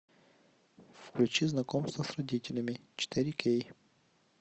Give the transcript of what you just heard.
включи знакомство с родителями четыре кей